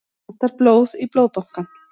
Vantar blóð í Blóðbankann